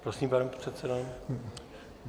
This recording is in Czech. Prosím, pane předsedo.